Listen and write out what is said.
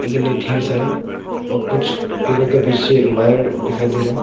लेकिन ये ढेर सारा और कुछ पेड़ों के पीछे वायर दिखाई दे रहा है।